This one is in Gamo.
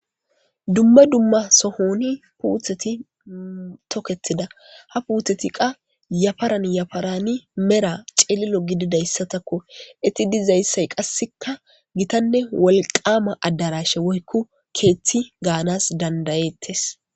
Dumma dumma sohoni puutheti toketida ha puutheti qa yafaran yafarani mera ceelilo gididayssatakko itti dizayssay qasseka gitanne wolqaama addarashe woykko keeththi gaanas dandayettes.